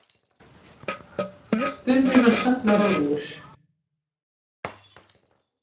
spurði hann sallarólegur.